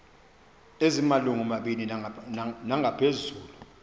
ezimalungu mabini nangaphezulu